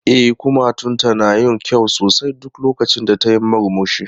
E, kumatunta na yin kyau sosai duk lokacin da tayi murmushi.